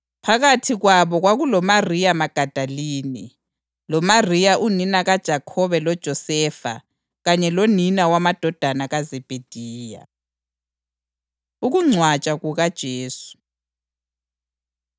Phakathi kwabo kwakuloMariya Magadalini, loMariya unina kaJakhobe loJosefa kanye lonina wamadodana kaZebhediya. Ukungcwatshwa KukaJesu